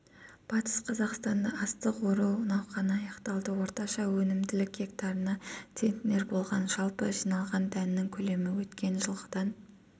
батыс қазақстанда астық ору науқаны аяқталды орташа өнімділікгектарына центнер болған жалпы жиналған дәннің көлемі өткен жылғыдан